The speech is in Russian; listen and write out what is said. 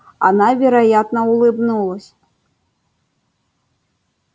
она вероятно улыбнулась